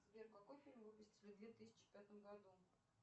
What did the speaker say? сбер какой фильм выпустили в две тысячи пятом году